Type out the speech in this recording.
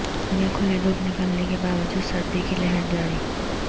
دن میں کھلی دھوپ نکلنے کے باوجود سردی کی لہر جاری